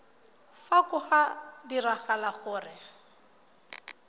fa go ka diragala gore